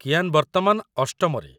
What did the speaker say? କିଆନ୍‌ ବର୍ତ୍ତମାନ ୮ମରେ।